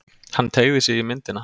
Hann teygði sig í myndina.